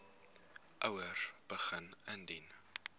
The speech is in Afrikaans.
ouers begin indien